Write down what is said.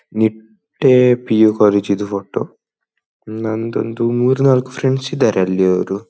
Nitte PU. College ಇದು photo ನಂದೊಂದು ಮೂರೂ ನಾಲ್ಕು ಫ್ರೆಂಡ್ಸ್ ಇದಾರೆ ಅಲ್ಲಿ ಅವರು.